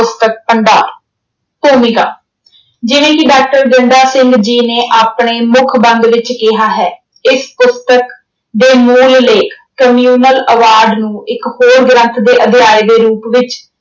ਪੁਸਤਕ ਭੰਡਾਰ। ਭੂਮਿਕਾ ਜਿਵੇਂ ਕਿ ਡਾਕਟਰ ਗੰਡਾ ਸਿੰਘ ਜੀ ਨੇ ਆਪਣੇ ਮੁੱਖ ਬੰਦ ਵਿੱਚ ਕਿਹਾ ਹੈ, ਇਸ ਪੁਸਤਕ ਦੇ ਮੂਲ ਲੇਖ communal ਆਵਾਜ਼ ਨੂੰ ਇੱਕ ਹੋਰ ਗ੍ਰੰਥ ਦੇ ਅਧਿਆਏ ਦੇ ਰੂਪ ਵਿੱਚ